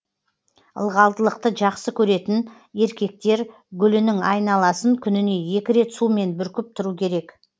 ылғалдылықты жақсы көретін еркектер гүлінің айналасын күніне екі рет сумен бүркіп тұру керек